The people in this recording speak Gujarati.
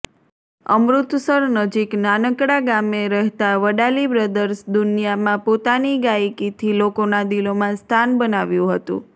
અમૃતસર નજીક નાનકડા ગામે રહેતા વડાલી બ્રદર્સ દુનિયામાં પોતાની ગાયિકીથી લોકોના દિલોમાં સ્થાન બનાવ્યું હતું